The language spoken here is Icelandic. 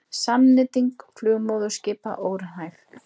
Samnýting flugmóðurskipa óraunhæf